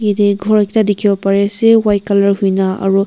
yate khor ekta dekhe bo pare ase white colour koina aro--